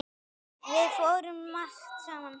Við fórum margt saman.